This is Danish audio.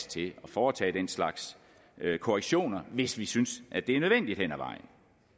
til at foretage den slags korrektioner hvis vi synes at det er nødvendigt hen ad vejen